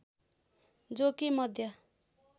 जो कि मध्य